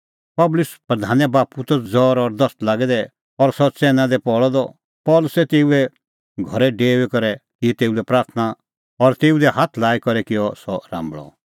पुबलिऊस प्रधाने बाप्पू त ज़ौर और दस्त लागै दै और सह च़ैन्नै दी पल़अ द पल़सी तेऊए घरै डेऊई करै की तेऊ लै प्राथणां और तेऊ दी हाथ लाई करै किअ सह राम्बल़अ